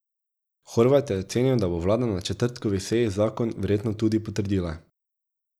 Horvat je ocenil, da bo vlada na četrtkovi seji zakon verjetno tudi potrdila.